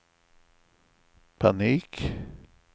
panik